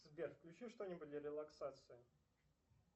сбер включи что нибудь для релаксации